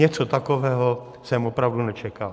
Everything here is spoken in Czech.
Něco takového jsem opravdu nečekal.